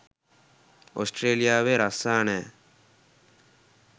ඔස්ට්‍රේලියාවේ රස්සා නෑ.